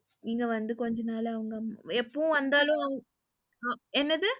இங்க வந்து கொஞ்ச நாளா அவங்க எப்பவும் வந்தாலும் என்னது?